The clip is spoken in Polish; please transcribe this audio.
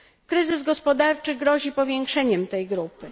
Kryzys gospodarczy grozi powiększeniem tej grupy.